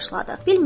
başladıq.